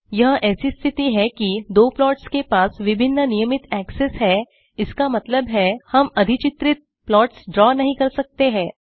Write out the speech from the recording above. यह ऐसी स्थिति है कि दो प्लॉट्स के पास विभिन्न नियमित एक्सेस है इसका मतलब है हम अधिचित्रित प्लॉट्स ड्रा नहीं कर सकते हैं